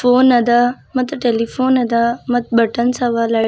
phone ಅದ ಮತ್ತು telephone ಅದ ಮತ್ ಬಟನ್ಸ್ ಅವ ಲೈ --